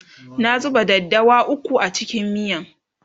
na zuba daddawa ukwu a cikin miyan